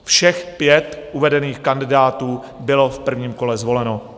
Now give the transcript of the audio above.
Všech pět uvedených kandidátů bylo v prvním kole zvoleno.